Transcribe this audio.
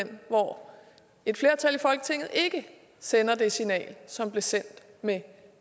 hen hvor et flertal i folketinget ikke sender det signal som blev sendt med